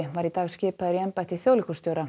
var í dag skipaður í embætti þjóðleikhússtjóra